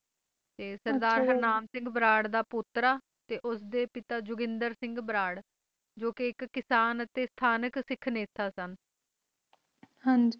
ਹਾਂ ਜੀ